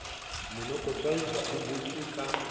monokotshwai ha o butswe ka